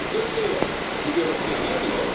It's a good deal for the European Union